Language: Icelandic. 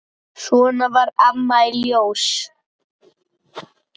Svona var Amma í Ljós.